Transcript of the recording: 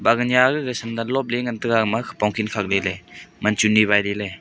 baganya gaga sandle sandle lopley ngan taiga ama khopong khik khak lahley man chunni wai lahley.